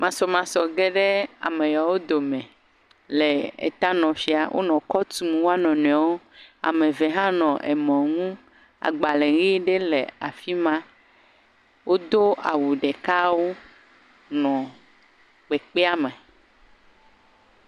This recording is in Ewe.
Masɔmasɔ ge ɖe ame yawo dome, le tanɔƒea, wonɔ kɔ tum wo nɔnɔewo ame eve hɔ nɔ amɔ ŋu agbalẽ ʋe ɖe le afi ma, wodo awu ɖekawo nɔ kpekpea me.